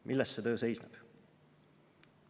"Milles see töö seisneb?"